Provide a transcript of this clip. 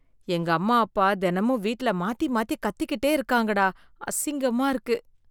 எங்கம்மா அப்பா தெனமும் வீட்ல மாத்தி மாத்தி கத்திகிட்டே இருக்கறாங்கடா, அசிங்கமா இருக்கு.